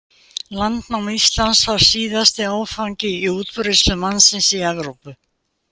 Landnám Íslands var síðasti áfangi í útbreiðslu mannsins í Evrópu.